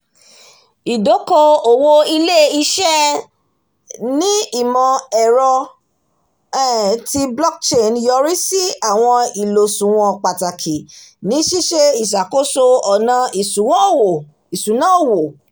ìdókò-òwò ilé-iṣẹ̀ ní ìmọ̀-ẹ̀rọ um ti blockchain yọrí sí àwọn ìlòṣùwọ̀n pàtàkì ní ṣíṣe ìṣàkóso ọjà ìṣúná owó